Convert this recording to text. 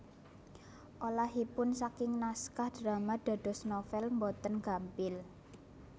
Olahipun saking naskah drama dados novèl boten gampil